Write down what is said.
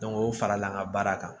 o farala an ka baara kan